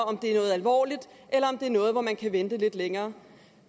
om det er noget alvorligt eller noget hvor man kan vente lidt længere